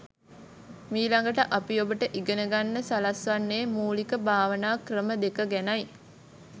මීළඟට අපි ඔබට ඉගෙන ගන්න සලස්වන්නේ මූලික භාවනා ක්‍රම දෙක ගැනයි.